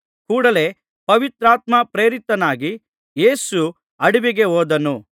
ಕೂಡಲೇ ಪವಿತ್ರಾತ್ಮ ಪ್ರೇರಿತನಾಗಿ ಯೇಸು ಅಡವಿಗೆ ಹೋದನು